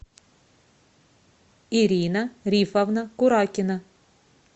ирина рифовна куракина